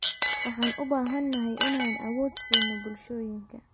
Waxaan u baahannahay inaan awood siino bulshooyinka.